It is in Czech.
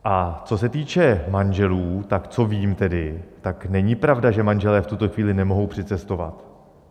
A co se týče manželů, tak co vím tedy, tak není pravda, že manželé v tuto chvíli nemohou přicestovat.